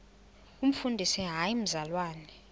umfundisi hayi mzalwana